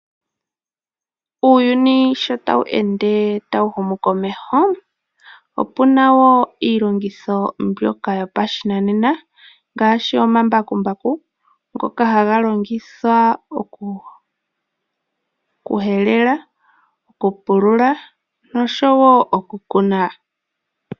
Uuyuni sho ta wu ende ta wu humu komeho, opu na wo iilongitho mbyoka yopashinanena ngaashi omambakumbaku ngoka ha ga longithwa oku helela, oku pulula nosho wo oku kuna.